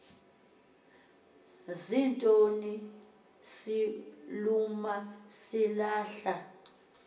zinto siluma silahla